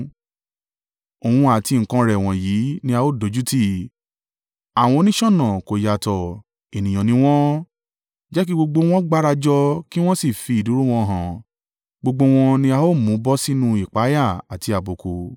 Òun àti nǹkan rẹ̀ wọ̀nyí ni a ó dójútì; àwọn oníṣọ̀nà kò yàtọ̀, ènìyàn ni wọ́n. Jẹ́ kí gbogbo wọn gbárajọ kí wọ́n sì fi ìdúró wọn hàn; gbogbo wọn ni a ó mú bọ́ sínú ìpayà àti àbùkù.